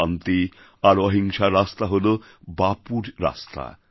শান্তি আর অহিংসার রাস্তা হলো বাপুর রাস্তা